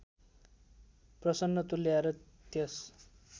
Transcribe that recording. प्रसन्न तुल्याएर त्यस